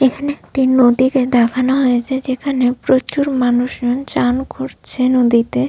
এখানে একটি নদীকে দেখানো হয়েছে যেখানে প্রচুর মানুষজন চান করছে নদীতে--